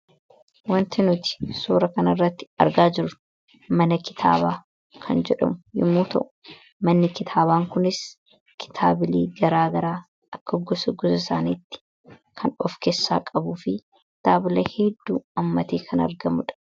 Wanta nuti suuraa kana irratti argaa jirru mana kitaabaa kan jedhamu yemmuu ta'u, manni kitaabaa kunis kitaabilee garaa garaa akka gosa gosa isaaniitti kan of keessaa qabuu fi kitaabolee hedduu hammatee kan argamuudha.